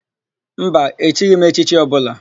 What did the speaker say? Mba, echighi m echichi ọbụla.